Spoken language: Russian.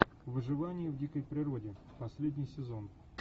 выживание в дикой природе последний сезон